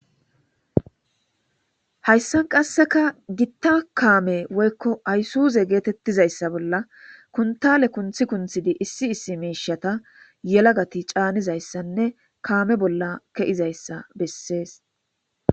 hayssan qasseka gitta kaame woykko aysuuze geetettizayssa bolla kuntale kunthi kunthidi issi issi miishata yelagati caanizayssanne kaame bolla ke7izayssa bessees